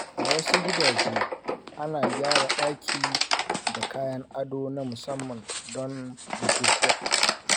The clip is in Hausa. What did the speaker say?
A wasu gidaje, ana gyara daki da kayan ado na musamman don bukukuwa.